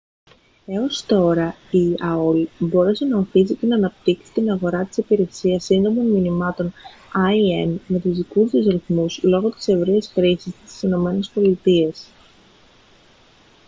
έως τώρα η aol μπόρεσε να ωθήσει και να αναπτύξει την αγορά της υπηρεσίας σύντομων μηνυμάτων im με τους δικούς της ρυθμούς λόγω της ευρείας χρήσης της στις ηνωμένες πολιτείες